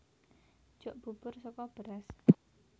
Jok bubur saka beras